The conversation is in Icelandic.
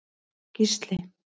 Gísli